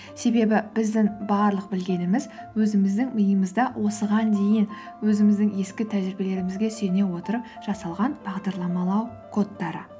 себебі біздің барлық білгеніміз өзіміздің миымызда осыған дейін өзіміздің ескі тәжірибелерімізге сүйене отырып жасалған бағдарламалау кодтары